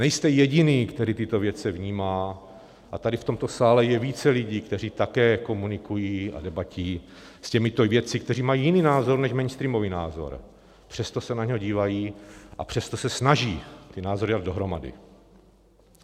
Nejste jediný, který tyto věci vnímá, a tady v tomto sále je více lidí, kteří také komunikují a debatují s těmito vědci, kteří mají jiný názor než mainstreamový názor, přesto se na něho dívají a přesto se snaží ty názory dát dohromady.